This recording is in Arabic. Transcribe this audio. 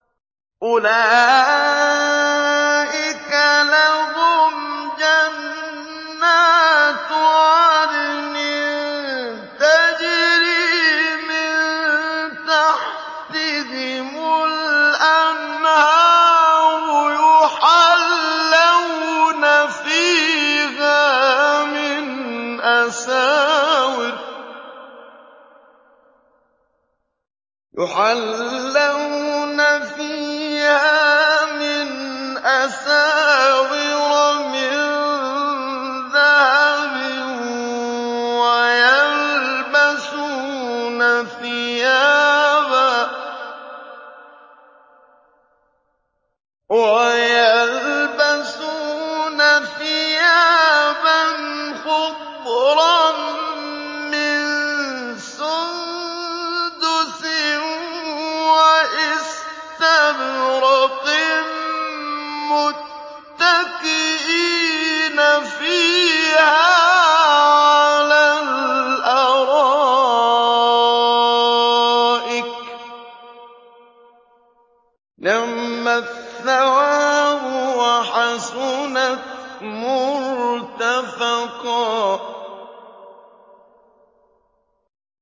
أُولَٰئِكَ لَهُمْ جَنَّاتُ عَدْنٍ تَجْرِي مِن تَحْتِهِمُ الْأَنْهَارُ يُحَلَّوْنَ فِيهَا مِنْ أَسَاوِرَ مِن ذَهَبٍ وَيَلْبَسُونَ ثِيَابًا خُضْرًا مِّن سُندُسٍ وَإِسْتَبْرَقٍ مُّتَّكِئِينَ فِيهَا عَلَى الْأَرَائِكِ ۚ نِعْمَ الثَّوَابُ وَحَسُنَتْ مُرْتَفَقًا